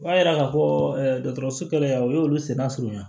O b'a yira k'a fɔ dɔgɔtɔrɔso kɛnɛya o y'olu senna surunya